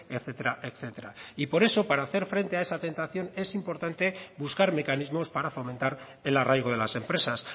etcétera etcétera y por eso para hacer frente a esa tentación es importante buscar mecanismos para fomentar el arraigo de las empresas